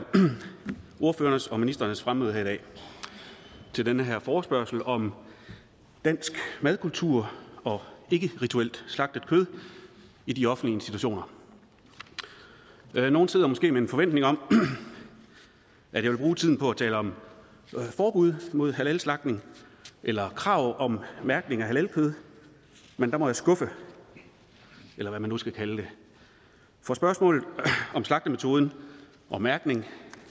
ordførernes og ministerens fremmøde her i dag til den her forespørgsel om dansk madkultur og ikkerituelt slagtet kød i de offentlige institutioner nogle steder måske med en forventning om at jeg vil bruge tiden på at tale om forbud mod halalslagtning eller krav om mærkning af halalkød men der må jeg skuffe eller hvad man skal kalde det for spørgsmålet om slagtemetoden og mærkning